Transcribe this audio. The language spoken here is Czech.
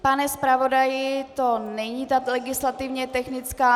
Pane zpravodaji, to není ta legislativně technická.